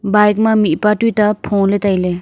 bike ma mihpa tuta pholey tailey.